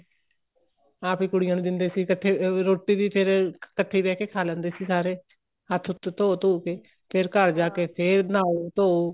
ਆਪ ਹੀ ਕੁੜੀਆਂ ਨੂੰ ਦਿੰਦੇ ਤੇ ਇੱਕਠੇ ਰੋਟੀ ਵੀ ਫ਼ੇਰ ਇੱਕਠੇ ਬਹਿ ਕੇ ਖਾਹ ਲੈਂਦੇ ਸੀ ਸਾਰੇ ਹੱਥ ਹੁਥ ਧੋਹ ਧੁਹ ਕੇ ਫ਼ੇਰ ਘਰ ਜਾਕੇ ਫ਼ੇਰ ਨਹਾਹੋ ਧੋਹੋ